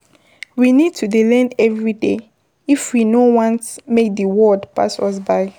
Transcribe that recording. We need to take time to appreciate those small things wey dey carry joy come